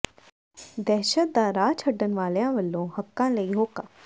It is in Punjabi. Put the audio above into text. ਦਹਿਸ਼ਤ ਦਾ ਰਾਹ ਛੱਡਣ ਵਾਲਿਆਂ ਵੱਲੋਂ ਹੱਕਾਂ ਲਈ ਹੋਕਾ